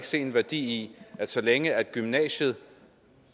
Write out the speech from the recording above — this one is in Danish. se værdien i at så længe gymnasiet